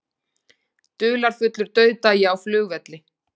Dularfullur dauðdagi á flugvelli